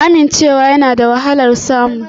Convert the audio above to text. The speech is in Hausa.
Amincewa yana da wahalar samu